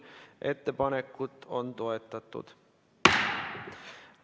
Ettepanekut on toetatud.